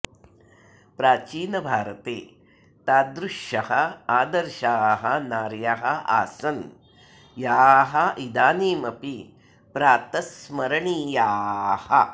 प्राचीनभारते तादृश्यः आदर्शाः नार्यः आसन् याः इदानीमपि प्रातस्स्मरणीयाः